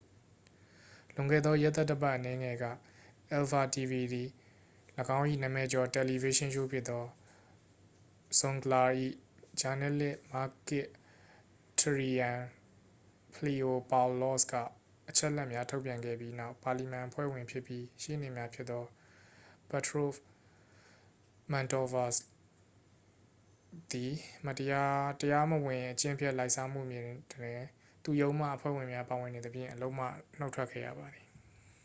"လွန်ခဲ့သောရက်သတ္တပတ်အနည်းငယ်က၊ အယ်ဖာ တီဗီ တွင် ၎င်း၏နာမည်ကျော်တယ်လီဗေးရှင်းရှိုးဖြစ်သော "zoungla" ၌ ဂျာနယ်လစ် မာကစ် တရီရန်ဖလီအိုပေါင်လော့စ်က အချက်အလက်များထုတ်ပြန်ခဲ့ပြီးနောက်၊ ပါလီမန်အဖွဲ့ဝင်ဖြစ်ပြီး ရှေ့နေလည်းဖြစ်သော ပထရို့စ် မန်တော့ဗာလို့စ်သည် တရားမဝင် အကျင့်ပျက်လာဘ်စားမှုတွင် သူ့ရုံးမှအဖွဲ့ဝင်များပါဝင်နေသဖြင့် အလုပ်မှနှုတ်ထွက်ခဲ့ရပါသည်။